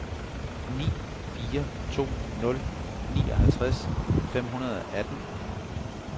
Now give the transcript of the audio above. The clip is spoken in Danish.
ni fire to nul nioghalvtreds fem hundrede og atten